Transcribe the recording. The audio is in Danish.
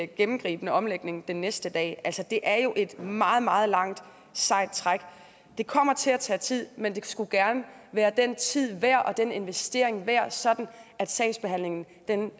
gennemgribende omlægning den næste dag det er jo et meget meget langt sejt træk og det kommer til at tage tid men det skulle gerne være den tid værd og den investering værd sådan at sagsbehandlingen